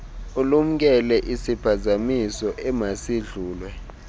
ulumkele isiphazamiso emasidlulwe